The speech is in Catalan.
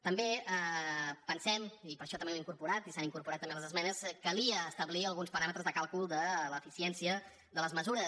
també pensem i per això també ho hem incorporat i s’han incorporat també les esmenes que calia establir alguns paràmetres de càlcul de l’eficiència de les mesures